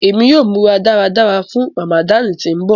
Emi yóò mura daradara fun Ramadani ti ńbọ.